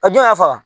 A jɔn y'a faga